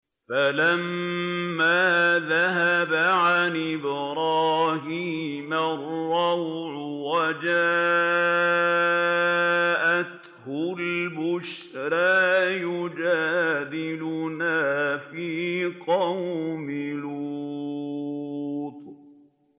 فَلَمَّا ذَهَبَ عَنْ إِبْرَاهِيمَ الرَّوْعُ وَجَاءَتْهُ الْبُشْرَىٰ يُجَادِلُنَا فِي قَوْمِ لُوطٍ